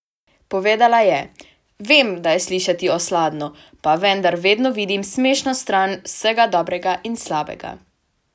Povedala je: "Vem, da je slišati osladno, pa vendar vedno vidim smešno stran vsega dobrega in slabega.